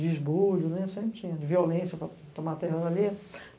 de esbulho, sempre tinha, de violência para tomar terra ali.